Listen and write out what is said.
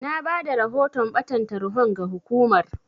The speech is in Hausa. Na bada rahoton ɓatan tarhon ga hukumar.